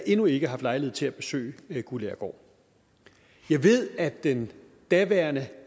endnu ikke haft lejlighed til at besøge guldagergaard jeg ved at den daværende